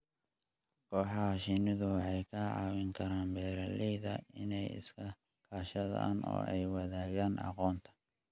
Kooxaha shinnida waxay ka caawin karaan beeralayda inay iska kaashadaan oo ay wadaagaan aqoonta.